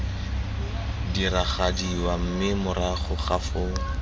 diragadiwa mme morago ga foo